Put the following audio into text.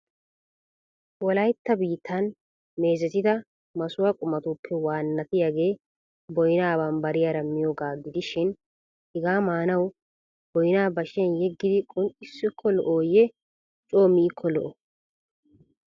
Wolaytta biittan meezettida massuwaa qumatuppe wannatiyaagee boynna bambbariyaara miyyiyooga gidishin hega maanaw boynna bashiyan yeegidi qunxxissio lo"oyye coo miiko lo"o?